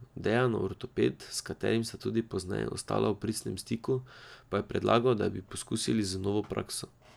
Dejanov ortoped, s katerim sta tudi pozneje ostala v pristnem stiku, pa je predlagal, da bi poskusili z novo prakso.